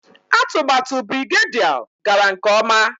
Atụmatụ Birigadiau gara nke ọma